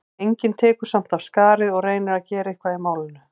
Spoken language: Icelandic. Enginn tekur samt af skarið og reynir að gera eitthvað í málinu.